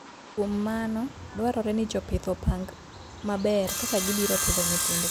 Kuom mano, dwarore ni jopith opang maber kaka gibiro pidho nyithindgi.